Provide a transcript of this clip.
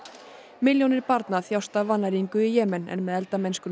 milljónir barna þjást af vannæringu í Jemen en með eldamennskunni í